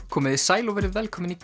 komið þið sæl og verið velkomin í